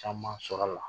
Caman sɔrɔla